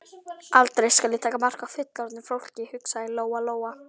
Aldrei skal ég taka mark á fullorðnu fólki, hugsaði Lóa Lóa.